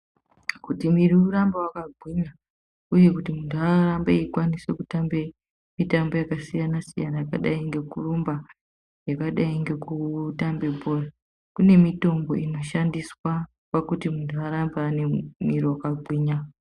Kuti mwiri urambe wakagwinya, uye kuti muntu arambe eikwanise kutambe mitambo yakasiyana-siyana yakadai ngekurumba, yakadai ngekutambe bhora, kunemitombo inoshandiswa pakuti muntu arambe anemwiri wakagwinya.